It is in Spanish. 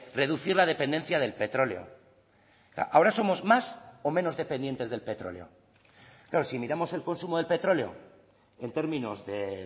reducir la dependencia del petróleo ahora somos más o menos dependientes del petróleo claro si miramos el consumo del petróleo en términos de